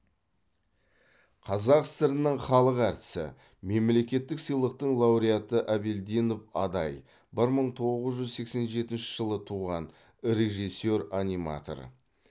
қазақ сср інің халық әртісі мемлекеттік сыйлықтың лауреаты әбелдинов адай бір мың тоғыз жүз сексен жетінші жылы туған режиссер аниматор